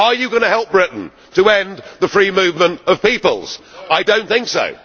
Are you going to help Britain to end the free movement of peoples? I do not think